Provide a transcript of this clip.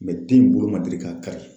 den bolo ma deli ka kari.